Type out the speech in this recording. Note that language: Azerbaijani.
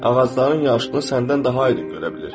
Ağacların yaşılığını səndən daha aydın görə bilir.